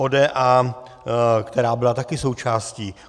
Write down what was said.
ODA, která byla také součástí.